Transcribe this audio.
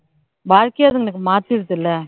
வாழ்க்கையே அதுங்களுக்கு மாத்திடுது இல்லை